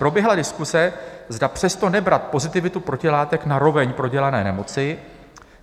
Proběhla diskuse, zda přesto nebrat pozitivitu protilátek na roveň prodělané nemoci.